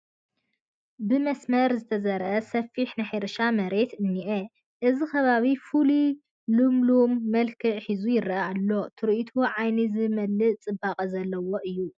ብመስመር ዝተዘርአ ሰፊሕ ናይ ሕርሻ መሬት እኒአ፡፡ እዚ ከባቢ ፍሉይ ልምላመን መልክዕን ሒዙ ይርአ ኣሎ፡፡ ትርኢቱ ዓይኒ ዝመልእ ፅባቐ ዘለዎ እዩ፡፡